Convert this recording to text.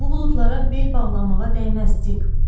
Bu buludlara bel bağlamağa dəyməz, dik.